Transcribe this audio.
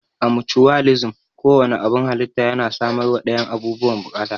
A mucuwalisim, ko wanne abun halitta yana samarwa dayan abubuwan bukata.